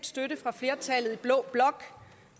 støtte fra flertallet i blå blok